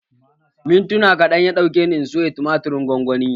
Mintuna kaɗan ya ɗauke ni in soya tumatirin gwangwanin